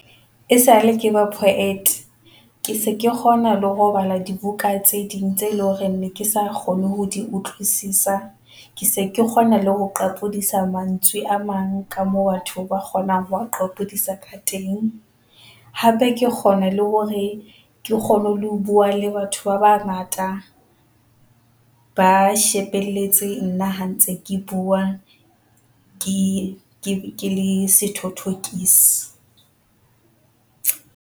Esale ke ba poet, ke se ke kgona le ho bala dibuka tse ding tse eleng hore ne ke sa kgone ho di utlwisisa. Ke se ke kgona le ho qapodisa mantswe a mang ka moo batho ba kgonang ho a qapodisa ka teng, hape ke kgona le hore ke kgone le ho bua le batho ba bangata ba shebelletseng nna ha ntse ke bua, ke ke le sethothokisi.